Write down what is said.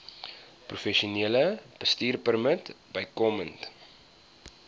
professionele bestuurpermit bykomend